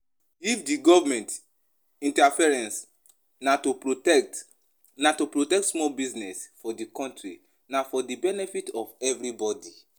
if di government interference na to protect na to protect small business for di country, na for di benefit of everybody